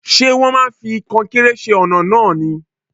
Ṣé wón máa fi kọnkéré ṣe ọ̀nà náà ni?